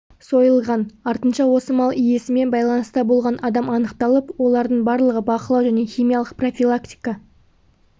сойылған артынша осы мал иесімен байланыста болған адам анықталып олардың барлығы бақылау және химиялық профилактика